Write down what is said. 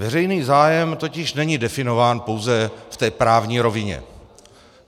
Veřejný zájem totiž není definován pouze v té právní rovině.